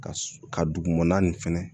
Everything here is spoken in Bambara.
Ka su ka dugumana nin fɛnɛ